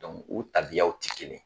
o tabiyaw tɛ kelen ye